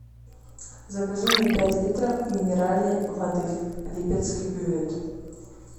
закажи мне пять литров минеральной воды липецкий бювет